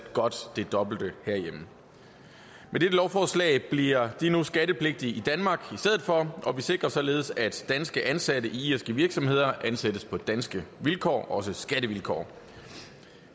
godt det dobbelte herhjemme med dette lovforslag bliver de nu skattepligtige i danmark og vi sikrer således at danske ansatte i irske virksomheder ansættes på danske vilkår også skattevilkår